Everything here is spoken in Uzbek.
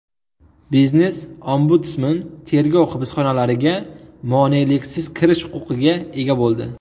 Biznes-ombudsman tergov hibsxonalariga moneliksiz kirish huquqiga ega bo‘ldi.